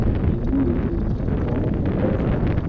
митингуют люди на траву садятся